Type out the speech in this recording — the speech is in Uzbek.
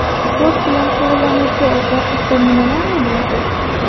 Sport bilan shug‘ullanuvchi otlar haqida nimalarni bilasiz?